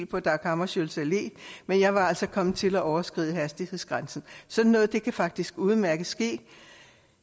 på dag hammarskjölds allé men jeg var altså kommet til at overskride hastighedsgrænsen sådan noget kan faktisk udmærket ske